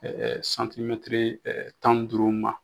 santimɛtiri tan ni duuru ma.